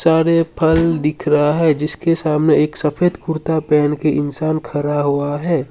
सारे फल दिख रहा है जिसके सामने एक सफेद कुर्ता पहन के इंसान खड़ा हुआ है।